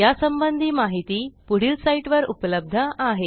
यासंबंधी माहिती पुढील साईटवर उपलब्ध आहे